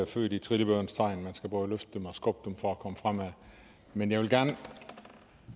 født i trillebørens tegn man skal både løfte dem og skubbe dem for at komme fremad men jeg vil gerne